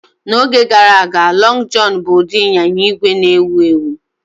N'oge gara aga, "Lọng Jọn" bụ ụdị ịnyịnya ígwè na-ewu ewu